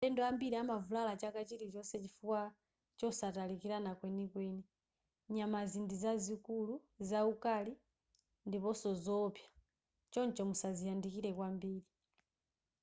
alendo ambiri amavulala chaka chilichonse chifukwa chosatalikirana kwenikweni nyamazi ndi zazikulu zaukali ndiponso zowopsa choncho musaziyandikire kwambiri